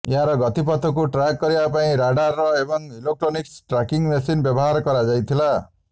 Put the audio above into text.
ଏହାର ଗତିପଥକୁ ଟ୍ରାକ୍ କରିବା ପାଇଁ ରାଡାର୍ ଏବଂ ଇଲେକଟ୍ରୋନିକ୍ସ ଟ୍ରାକିଂ ମେସିନ୍ ବ୍ୟବହାର କରାଯାଇଥିଲା